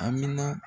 Amina